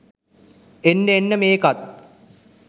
එන්න එන්න මේකෙත්